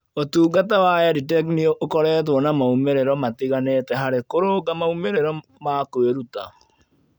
Ũtungata wa EdTech nĩ ũkoretwo na moimĩrĩro matiganĩte harĩ kũrũnga moimĩrĩro ma kwĩruta.